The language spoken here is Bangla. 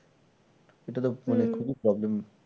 এটা তো মানে খুবই problem